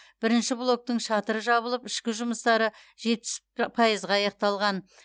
бірінші блоктың шатыры жабылып ішкі жұмыстары жетпіс п пайызға аяқталған